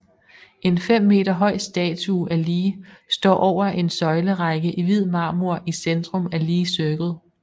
En 5 meter høj statue af Lee står over en søjlerække i hvid marmor i centrum af Lee Circle